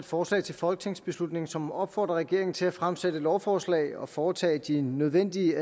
forslag til folketingsbeslutning som opfordrer regeringen til at fremsætte lovforslag og foretage de nødvendige